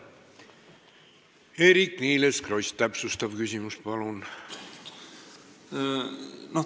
Eerik-Niiles Kross, täpsustav küsimus, palun!